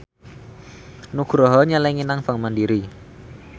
Nugroho nyelengi nang bank mandiri